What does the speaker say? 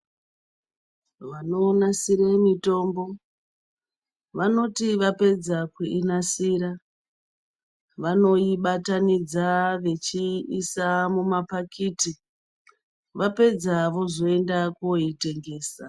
Vanonasire mitombo, vanoti vapedza kuinasira, vanoibatanidza vechiisa mumaphakiti, vapedza vozoenda koitengesa.